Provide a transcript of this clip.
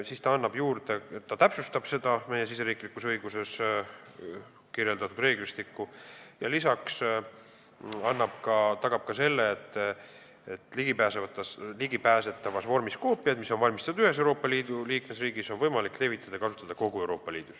Eelnõu täpsustab meie riigisiseses õiguses kirjeldatud reeglistikku ja lisaks tagab selle, et ligipääsetavas vormis koopiaid, mis on valmistatud ühes Euroopa Liidu liikmesriigis, on võimalik levitada ja kasutada kogu Euroopa Liidus.